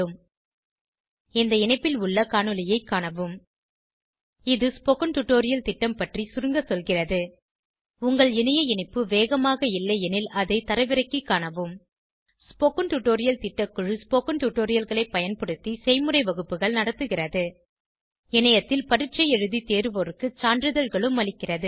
இந்த இணைப்பில் உள்ள காணொளியைக் காணவும் httpspoken tutorialorgWhat httpspoken tutorialorgWhat is a Spoken tutorial இது ஸ்போகன் டுடோரியல் திட்டம் பற்றி சுருங்க சொல்கிறது உங்கள் இணைய இணைப்பு வேகமாக இல்லையெனில் அதை தரவிறக்கிக் காணவும் ஸ்போகன் டுடோரியல் திட்டக்குழு ஸ்போகன் டுடோரியல்களைப் பயன்படுத்தி செய்முறை வகுப்புகள் நடத்துகிறது இணையத்தில் பரீட்சை எழுதி தேர்வோருக்கு சான்றிதழ்களும் அளிக்கிறது